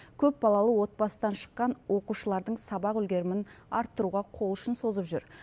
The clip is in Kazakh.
көпбалалы отбасыдан шыққан оқушылардың сабақ үлгерімін арттыруға қол ұшын созып жүр